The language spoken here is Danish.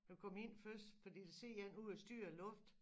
Du kom ind først fordi der sidder én ude og styrer æ luft